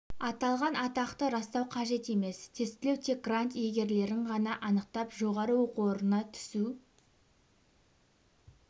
аталған атақты растау қажет емес тестілеу тек грант иегерлерін ғана анықтап жоғары оқу орнына түсу